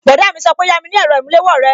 Bọ̀dá mi sọ pé yami ni èrò ìmúléwó rẹ!